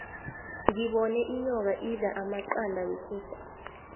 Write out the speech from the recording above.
ngibone inyoka idla amaqanda wekukhu